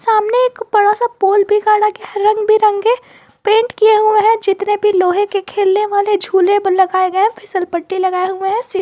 सामने एक बड़ा सा पोल भी गाड़ा गया है रंग बिरंगे पेंट किया हुआ है जितने भी लोहे के खेलने वाले झूले पर लगाए गए हैं फीसल पट्टी लगाए हुए हैं सी--